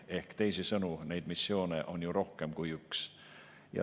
Ehk teisisõnu, neid missioone on ju rohkem kui üks.